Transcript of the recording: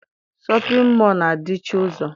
Shọpịn mọọ na- adịchi ụzọ.